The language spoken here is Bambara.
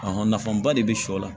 nafaba de bɛ sɔ la